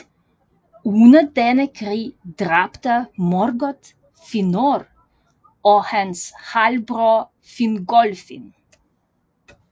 Under denne krig dræbte Morgoth Fëanor og hans halvbror Fingolfin